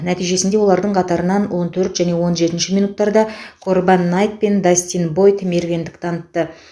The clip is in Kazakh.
нәтижесінде олардың қатарынан он төрт және он жетінші минуттарда корбан найт пен дастин бойд мергендік танытты